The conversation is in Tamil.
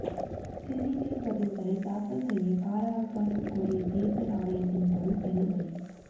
சிசிடிவி பதிவுகளை தாக்கல் செய்ய கால அவகாசம் கோரிய தோ்தல் ஆணையத்தின் மனு தள்ளுபடி